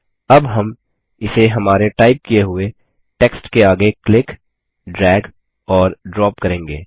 अब हम इसे हमारे टाइप किये हुए टेक्स्ट के आगे क्लिक ड्रैग और ड्रॉप करेंगे